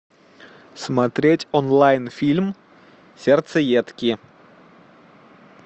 смотреть онлайн фильм сердцеедки